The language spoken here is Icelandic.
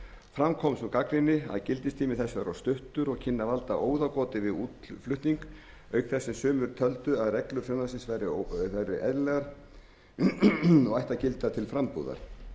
fram kom sú gagnrýni að gildistími þess væri of stuttur og kynni að valda óðagoti við útflutning auk þess sem sumir töldu að reglur frumvarpsins væru eðlilegar og ættu að gilda til frambúðar